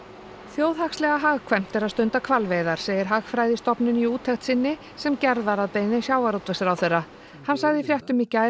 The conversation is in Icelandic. þjóðhagslega hagkvæmt er að stunda hvalveiðar segir Hagfræðistofnun í úttekt sinni sem gerð var að að beiðni sjávarútvegsráðherra hann sagði í fréttum í gær